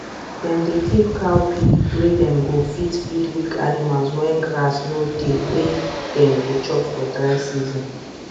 dem dey keep cowpea wey dem go fit feed weak animals when grass no dey wey dem go chop for dry season